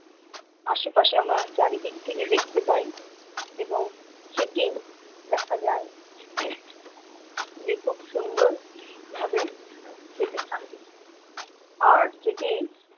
আশেপাশে আমরা চারিদিক থেকে দেখতে পাই এবং সেটি দেখা যায় যে খুব সুন্দর ভাবে সেটি থাকে আর যেটি